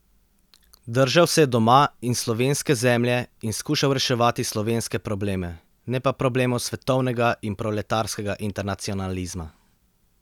Držal se je doma in slovenske zemlje in skušal reševati slovenske probleme, ne pa problemov svetovnega in proletarskega internacionalizma.